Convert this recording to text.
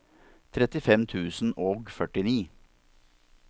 trettifem tusen og førtini